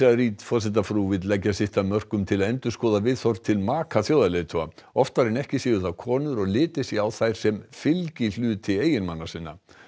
Reid forsetafrú vill leggja sitt af mörkum til að endurskoða viðhorf til maka þjóðarleiðtoga oftar en ekki séu það konur og litið sé á þær sem fylgihluti eiginmanna sinna